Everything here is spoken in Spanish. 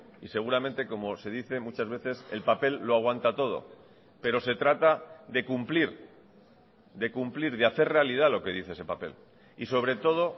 y seguramente como se dice muchas veces el papel lo aguanta todo pero se trata de cumplir de cumplir de hacer realidad lo que dice ese papel y sobre todo